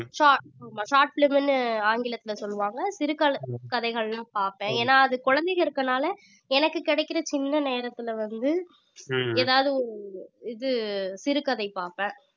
short film short film ன்னு ஆங்கிலத்துல சொல்லுவாங்க சிறுகதை கதைகள்லாம் பார்ப்பேன் ஏன்னா அது குழந்தைங்க இருக்கனால எனக்கு கிடைக்கிற சின்ன நேரத்துல வந்து ஏதாவது இது சிறுகதை பாப்பேன்